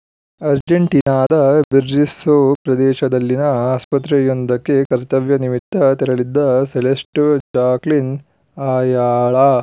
ಅರ್ಜೆಂಟೀನಾದ Berisso ಪ್ರದೇಶದಲ್ಲಿನ ಆಸ್ಪತ್ರೆಯೊಂದಕ್ಕೆ ಕರ್ತವ್ಯ ನಿಮಿತ್ತ ತೆರಳಿದ್ದ ಸೆಲೆಸ್ಟ್‌ ಜಾಕ್ಲಿನ್‌ ಅಯಾಲಾ